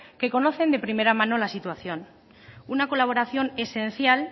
que conocen de primera mano la situación una colaboración esencial